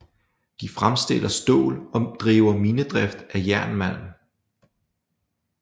De fremstiller stål og driver minedrift af jernmalm